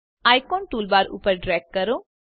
આઇકોનને toolbar ઉપર drag કરો